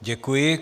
Děkuji.